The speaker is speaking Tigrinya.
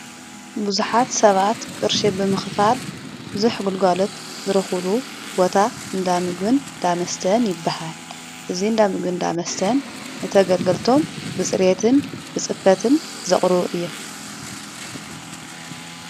ብዙኃት ሰባት ቅርሺ ብምኽፋል ብዙኅ ጕልጓሎት ዝረዂሉ ቦታ እንዳሚግን ዳመስተን ይበሃ። እዙይ እንዳሚግን ዳመስተን ንተገልገልቶም ብጽሬየትን ብጽፈትን ዘቕሩቡ እዮም።